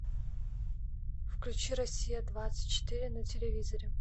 включи россия двадцать четыре на телевизоре